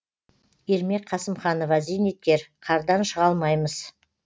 ермек қасымханова зейнеткер қардан шыға алмаймыз